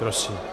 Prosím.